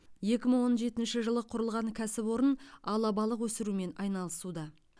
екі мың он жетінші жылы құрылған кәсіпорын алабалық өсірумен айналысуда